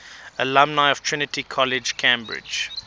alumni of trinity college cambridge